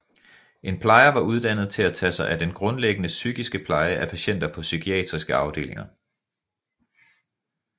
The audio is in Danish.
En plejer var uddannet til at tage sig af den grundlæggende psykiske pleje af patienter på psykiatriske afdelinger